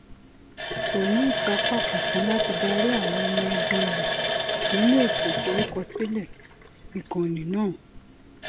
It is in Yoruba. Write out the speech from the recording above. kò ní ìsapá kankan láti darí àwọn ọmọ ẹbí rẹ nínú ètò ìforúkọsílẹ ikanni náà